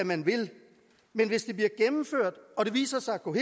man vil men hvis det bliver gennemført og det viser sig at gå